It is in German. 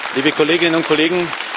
liebe Kolleginnen und Kollegen!